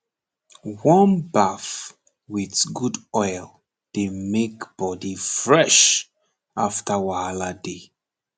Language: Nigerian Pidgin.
warm baff with good oil dey make body fresh after wahala day